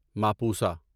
Mapusa